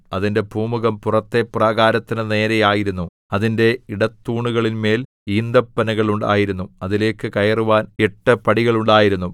അതിന്റെ പൂമുഖം പുറത്തെ പ്രാകാരത്തിന്റെ നേരെ ആയിരുന്നു അതിന്റെ ഇടത്തൂണുകളിന്മേൽ ഈന്തപ്പനകൾ ഉണ്ടായിരുന്നു അതിലേക്ക് കയറുവാൻ എട്ട് പടികൾ ഉണ്ടായിരുന്നു